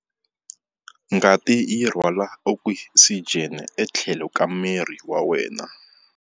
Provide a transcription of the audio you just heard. Ngati yi rhwala okisijeni etlhelo ka miri wa wena.